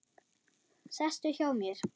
Sestu hjá mér.